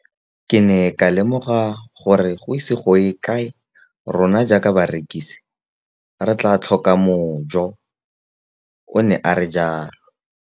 Ke ne ka lemoga gore go ise go ye kae rona jaaka barekise re tla tlhoka mojo, o ne a re jalo.